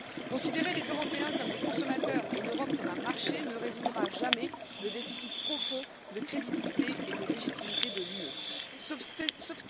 Considérer les Européens comme des consommateurs et l'Europe comme un marché ne résoudra jamais le déficit profond de crédibilité et de légitimité de l'Union européenne.